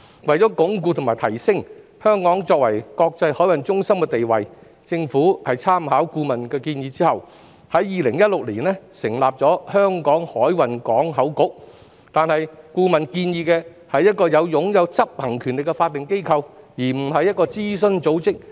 為鞏固和提升香港作為國際海運中心的地位，政府在參考顧問的建議後，在2016年成立了香港海運港口局，但顧問所建議的是一個擁有執行權力的法定機構，而不是一個諮詢組織。